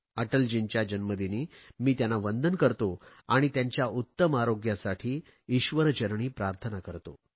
अटलजींच्या जन्मदिनी मी त्यांना वंदन करतो आणि त्यांच्या उत्तम आरोग्यासाठी ईश्वरचरणी प्रार्थना करतो